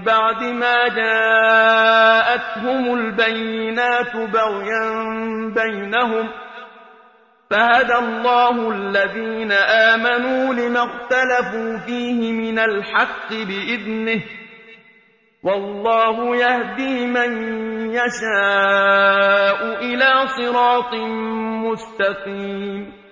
بَعْدِ مَا جَاءَتْهُمُ الْبَيِّنَاتُ بَغْيًا بَيْنَهُمْ ۖ فَهَدَى اللَّهُ الَّذِينَ آمَنُوا لِمَا اخْتَلَفُوا فِيهِ مِنَ الْحَقِّ بِإِذْنِهِ ۗ وَاللَّهُ يَهْدِي مَن يَشَاءُ إِلَىٰ صِرَاطٍ مُّسْتَقِيمٍ